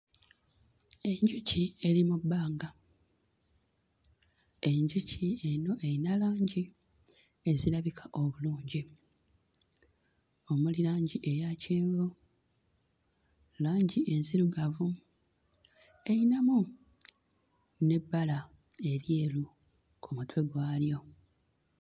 Enjuki eri mu bbanga, enjuki eno eyina langi ezirabika obulungi omuli langi eya kyenvu, langi enzirugavu, eyinamu n'ebbala eryeru ku mutwe gwayo.